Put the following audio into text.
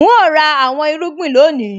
N óò ra àwọn irúgbìn lónìí